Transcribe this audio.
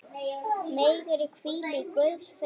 Megirðu hvíla í Guðs friði.